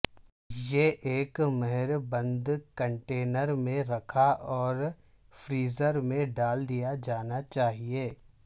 یہ ایک مہر بند کنٹینر میں رکھا اور فریزر میں ڈال دیا جانا چاہئے